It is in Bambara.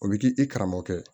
O bɛ k'i i karamɔgɔkɛ